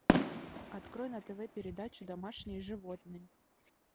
открой на тв передачу домашние животные